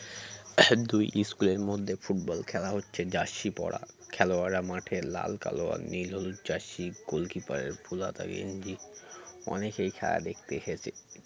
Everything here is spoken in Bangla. দুই school -এর মধ্যে ফুটবল খেলা হচ্ছে jersey পরা খেলোয়াররা মাঠে লাল কালো আর নীল হলুদ jersey goalkeeper -এর ফুলহাতা গেঞ্জি অনেকেই খেলা দেখতে হেছে